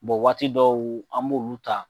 Bɔn waati dɔw an b'olu ta